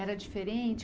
Era diferente?